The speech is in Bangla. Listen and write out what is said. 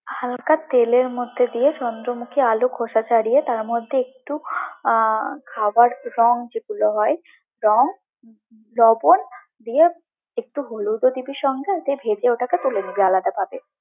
হালকা তেলের মধ্যে দিয়ে চন্দ্রমুখী আলু খোসা ছাড়িয়ে তার মধ্যে একটু আহ খাবার রং যেগুলো হয়, রং, লবন দিয়ে, একটু হলুদও দিবি সঙ্গে, দিয়ে ভেজে ওটাকে তুলে নিবি আলাদাভাবে।